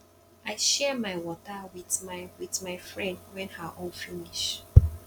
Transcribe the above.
i share my water wit my wit my friend wen her own finish